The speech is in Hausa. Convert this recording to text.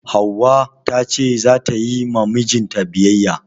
Hauwa ta ce za ta yi ma mijinta biyayya.